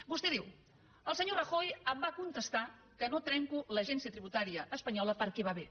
vostè diu el senyor rajoy em va contestar que no trenco l’agència tributària espanyola perquè va bé